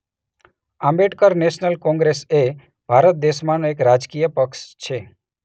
Ambedkar national congress એ ભારત દેશમાંનો એક રાજકીય પક્ષ છે.